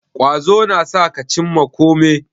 Ƙwazo na sa ka cimma kome